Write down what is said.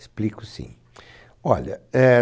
Explico, sim. Olha, é